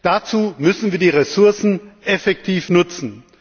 Dazu müssen wir die Ressourcen effektiv nutzen.